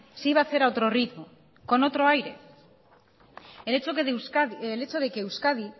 se iba a hacer con otro ritmo con otro aire el hecho de que euskadi